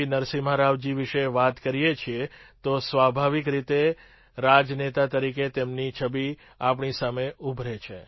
નરસિમ્હા રાવજી વિશે વાત કરીએ છીએ તો સ્વાભાવિક રીતે રાજનેતા તરીકે તેમની છબિ આપણી સામે ઉભરે છે